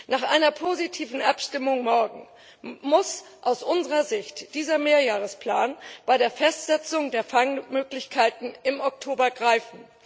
Nach einer positiven Abstimmung morgen muss aus unserer Sicht dieser Mehrjahresplan bei der Festsetzung der Fangmöglichkeiten im Oktober greifen.